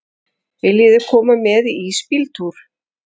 Viljiði koma með í ísbíltúr?